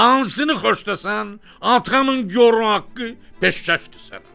Hansını xoşlasan, atamın gor haqqı, peşkəşdir sənə.